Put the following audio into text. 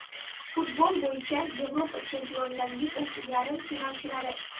Futbol bo‘yicha Yevropa Chempionlar Ligasi yarim finalchilari.